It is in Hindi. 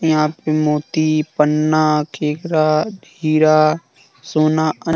यहां पे मोती पन्ना केकरा हीरा सोना अन --